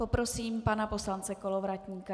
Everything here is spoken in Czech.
Poprosím pana poslance Kolovratníka.